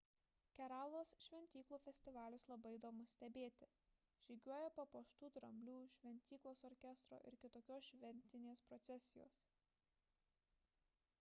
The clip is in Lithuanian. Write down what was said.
keralos šventyklų festivalius labai įdomu stebėti – žygiuoja papuoštų dramblių šventyklos orkestro ir kitokios šventinės procesijos